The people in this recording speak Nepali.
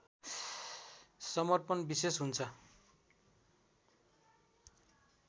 समर्पण विशेष हुन्छ